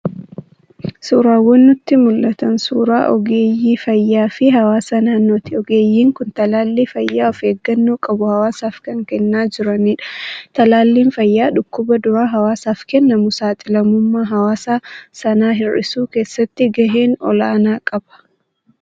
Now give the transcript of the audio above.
Suuraawwan nutti mul'atan suuraa ogeeyyii fayyaa fi hawaasa naannooti. Ogeeyyiin kun talaallii fayyaa of eeggannoo qabu hawaasaaf kan kennaa jiranidha. Talaalliin fayyaa dhukkuba duraa hawaasaaf kennamu saaxilamummaa hawaasa sanaa hir'isuu keessatti gaheen olaanaa qaba.